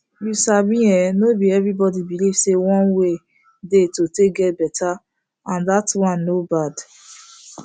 you sabi en no be everybody believe say one way dey to take get better and that one no bad